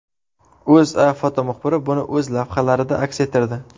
O‘zA fotomuxbiri buni o‘z lavhalarida aks ettirdi .